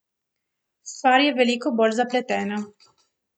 Stvar je veliko bolj zapletena.